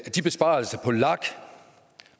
at de besparelser